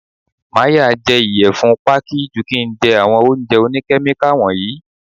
Màá ya jẹ ìyẹ̀fun Pákí ju kín ń jẹ àwọn oúnjẹ òní Kẹ́míkà wọ̀nyí.